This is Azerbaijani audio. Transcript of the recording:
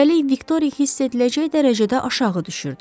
Üstəlik, Viktoriya hiss ediləcək dərəcədə aşağı düşürdü.